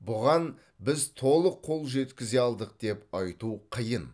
бұған біз толық қол жеткізе алдық деп айту қиын